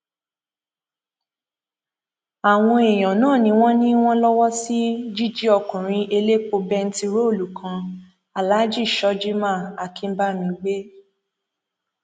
àwọn èèyàn náà ni wọn ní wọn lọwọ sí jíjí ọkùnrin elépo bẹntiróòlù kan aláàjì shojiman akínbami gbé